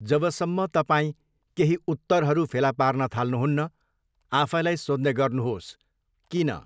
जबसम्म तपाईँ केही उत्तरहरू फेला पार्न थाल्नु हुन्न, आफैलाई सोध्ने गर्नुहोस् 'किन?'